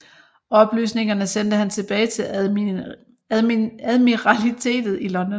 Oplysningerne sendte han tilbage til Admiralitetet i London